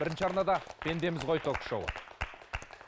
бірінші арнада пендеміз ғой ток шоуы